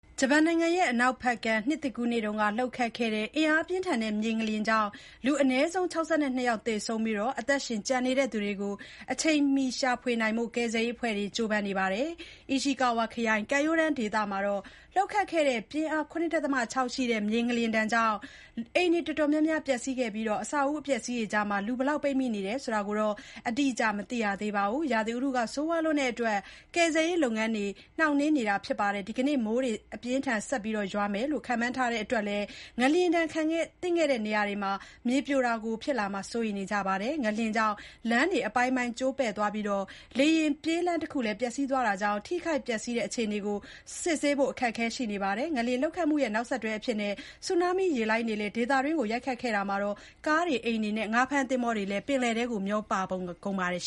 ဂျပန်နိုင်ငံ အနောက်ဘက်ကမ်း နှစ်သစ်ကူးနေ့က လှုပ်ခတ်ခဲ့တဲ့ အင်အားပြင်းထန်တဲ့ မြေငလျင်ကြောင့် လူအနည်းဆုံး ၆၂ ယောက်သေဆုံးခဲ့ပြီး အသက်ရှင်ကျန်ရစ်သူတွေကို အချိန်မှီရှာနိုင်ဖို့ ကယ်ဆယ်ရးအဖွဲ့တွေ ကြိုးပမ်းနေပါတယ်။ Ishikawa (အီရှီကာဝါ) စီရင်စုကမ်းရိုးတန်းဒေသမှာ လှုပ်ခတ်ခဲ့တဲ့ ပြင်းအား ၇ ဒသမ ၆ ရှိတဲ့ မြေငလျင်ကြောင့် အိမ်တွေ တော်တော်များများ ပျက်စီးခဲ့ပြီး အဆောက်အဦ အပျက်အစီးတွေအကြားထဲမှာ လူဘယ်လောက် ပိတ်မိနေတယ်ဆိုတာကို အတိအကျ မသိရသေးပါဘူး။ ရာသီဥတု ဆိုးဝါးတဲ့အတွက် ကယ်ဆယ်ရေးလုပ်ငန်းတွေ နှောင့်နှေးနေပါတယ်။ ဒီနေ့ မိုးတွေ အပြင်းအထန် ဆက်ရွာမယ်လို့ ခန့်မှန်းထားတဲ့အတွက်လည်း ငလျင်ဒဏ်သင့်ခဲ့တဲ့ နေရာတွေမှာ မြေပြိုတာတွေ ဖြစ်လာမှာကို စိုးရိမ်နေကြပါတယ်။ ငလျင်ကြောင့် လမ်းတွေ အပိုင်းပိုင်း ကျိုးပဲ့သွားပြီး လေယာဉ်ပြေးလမ်းတခုလည်း ပျက်စီးသွားတာကြောင့် ထိခိုက်ပျက်စီးတဲ့ အခြေအနေကို စစ်ဆေးဖို့ အခက်အခဲ ရှိနေပါတယ်။ ငလျင်လှုပ်ခတ်မှုရဲ့ နောက်ဆက်တွဲအဖြစ် တမီတာကျော်အထိမြင့်တဲ့ ဆူနားမီး ရေလှိုင်းတွေလည်း ဒေသတွင်းကို ရိုက်ခတ်ခဲ့တာမှာ ကားတွေ၊ အိမ်တွေအပြင် ငါးဖမ်းသင်္ဘောတွေလည်း ပင်လယ်ထဲကို မျောပါကုန်ပါတယ်